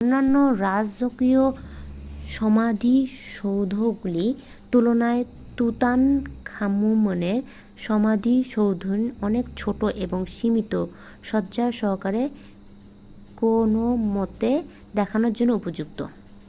অন্যান্য রাজকীয় সমাধিসৌধগুলির তুলনায় তুতানখামুনের সমাধিসৌধটি অনেক ছোট এবং সীমিত সজ্জা সহকারে কোনোমতে দেখানোর জন্য উপযুক্ত